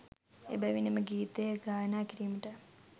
එබැවින් එම ගීතය ගායනා කිරීමට